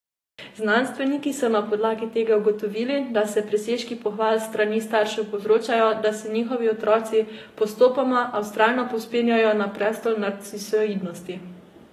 Znanstveniki so na podlagi tega ugotovili, da presežki pohval s strani staršev povzročajo, da se njihovi otroci postopoma a vztrajno povzpenjajo na prestol narcisoidnosti.